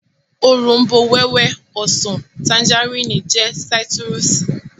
Òrombó-wẹ́wẹ́, ọsàn, tanjarínnì jẹ́ sáítírùsì